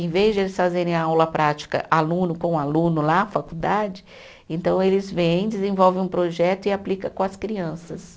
Em vez de eles fazerem a aula prática aluno com aluno lá na faculdade, então eles vêm, desenvolvem um projeto e aplica com as crianças.